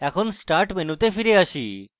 এখন start মেনুতে ফিরে আসি